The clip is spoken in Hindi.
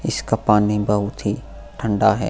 इसका पानी बहुत ही ठंडा है।